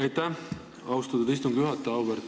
Aitäh, austatud istungi juhataja!